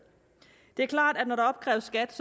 det er klart at når der opkræves skat